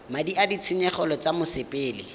madi a ditshenyegelo tsa mosepele